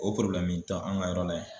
O tɛ an ka yɔrɔ la yan.